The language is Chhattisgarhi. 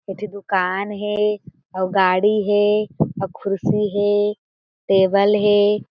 एक ठी दुकान हें अउ गाड़ी हें अउ कुर्सी हें टेबल हें।